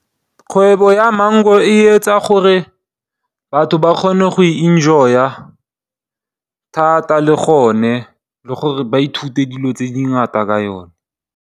Kgwebo ya maungo e etsa gore batho ba kgone go e enjoy-a thata le gone le gore ba ithute dilo tse dingata ka yone.